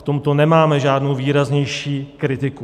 V tomto nemáme žádnou výraznější kritiku.